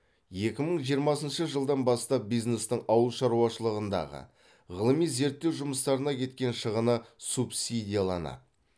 екі мың жиырмасыншы жылдан бастап бизнестің ауыл шаруашылығындағы ғылыми зерттеу жұмыстарына кеткен шығыны субсидияланады